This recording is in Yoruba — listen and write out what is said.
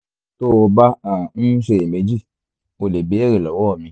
tó o bá um ń ṣiyèméjì o lè béèrè lọ́wọ́ mi